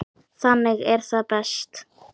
Þannig er það best.